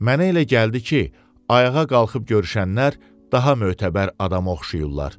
Mənə elə gəldi ki, ayağa qalxıb görüşənlər daha mötəbər adama oxşayırdılar.